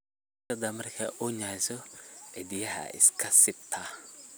Bisadha marka ooyneso cidhiyaa iskasibtaa.